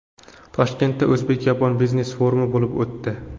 Toshkentda o‘zbek-yapon biznes-forumi bo‘lib o‘tdi.